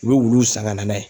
U be wulu san ka na n'a ye